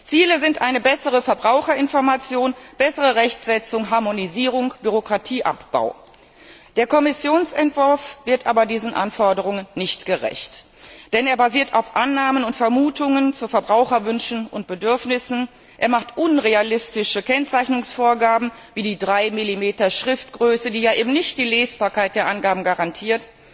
Ziele sind eine bessere Verbraucherinformation, bessere Rechtsetzung, Harmonisierung, Bürokratieabbau. Der Kommissionsentwurf wird aber diesen Anforderungen nicht gerecht, denn er basiert auf Annahmen und Vermutungen zu Verbraucherwünschen und Bedürfnissen, er macht unrealistische Kennzeichnungsvorgaben wie die 3 mm Schriftgröße, die die Lesbarkeit der Angaben eben nicht garantiert